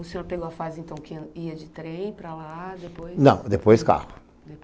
O senhor pegou a fase, então, que ia de trem para lá, depois... Não, depois carro.